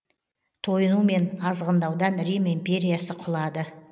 тойыну мен азғындаудан рим империясы құлады